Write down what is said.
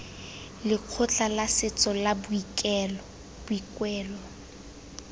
lekgotla la setso la boikuelo